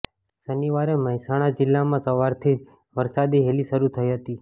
શનિવારે મહેસાણા જિલ્લામાં સવારથી જ વરસાદી હેલી શરૂ થઈ હતી